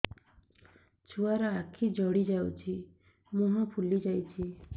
ଛୁଆର ଆଖି ଜଡ଼ି ଯାଉଛି ମୁହଁ ଫୁଲି ଯାଇଛି